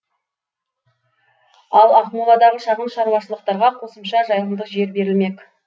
ал ақмоладағы шағын шаруашылықтарға қосымша жайылымдық жер берілмек